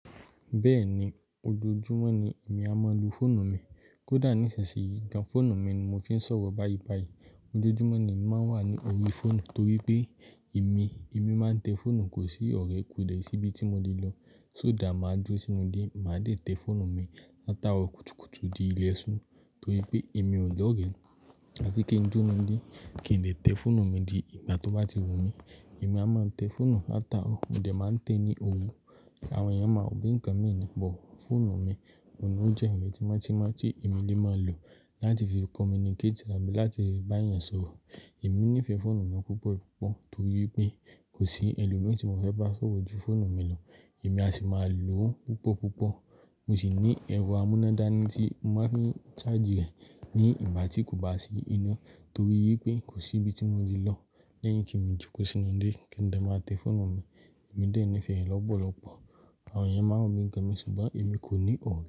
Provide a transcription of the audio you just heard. Bẹ́ẹ̀ni, ojoojúmọ́ ni èmi a máa ń lo fóònù mi. Kódà ní ìsisì yìí gan, fóònù mi ni mo fi ń sọ̀rọ̀ báyìí báyìí. Ojoojúmọ́ ni èmi máa ń wà ní orí fóònù torí pé èmi, èmi máa ń tẹ fóònù kò sí ọ̀rẹ́ kò dẹ̀ síbí tí ibi tí mo lè lọ. Só dà máa dúró sínú ilé, màá dẹ̀ tẹ fóònù mi látàárọ̀ kùtùkùtù di ilẹ̀ sún torí pé èmi ò ní ọ̀rẹ́. Àbí kí n dúró nínú ilé, kí n lè tẹ fóònù mi di ìgbà tó bá ti wù mí. Èmi a máa ń tẹ fóònù látàárọ̀, mo dẹ̀ máa ń tẹ ní òrú. Àwọn èèyàn máa wò pé ǹkan mi ni, bọ̀ fóònù mi. Òun ló jẹ́ ǹkan tí mọ́ tímọ́ tí èmi lè máa lò láti fi communicate àbí láti bá èèyàn sọ̀rọ̀. Èmi nífẹ̀ẹ́ fóònù mi púpọ̀ púpọ̀ torí pé kò sí ẹlòmí tí mo fẹ́ bá sọ̀rọ̀ ju fóònù mi lọ. Èmi a sì máa lò ó púpọ̀ púpọ̀. Mo sì ní ẹ̀rọ amúnádáni tí mo má fín charge rẹ̀ ní ìgbà tí kò bá sí iná torí pé kò sí ibi tí mo ti ibi tí mo lè lọ lẹ́yìn kí n jókòó sínú ilé kí n dẹ̀ máa tẹ fóònù mi. Èmi dẹ̀ nífẹ̀ẹ́ rẹ̀ lọ́pọ̀lọpọ̀. Àwọn èèyàn máa ń òbí ǹkan mi ṣùgbọ́n èmi kò ní òwú.